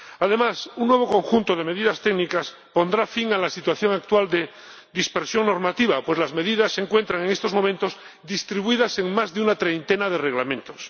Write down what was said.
Además, un nuevo conjunto de medidas técnicas pondrá fin a la situación actual de dispersión normativa, pues las medidas se encuentran, en estos momentos, distribuidas en más de una treintena de reglamentos.